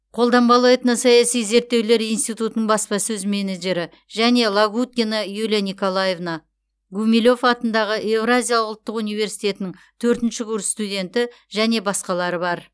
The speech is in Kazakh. қолданбалы этносаяси зерттеулер институтының баспасөз менеджері және лагуткина юлия николаевна гумилев атындағы еуразия ұлттық университетінің ші курс студенті және басқалары бар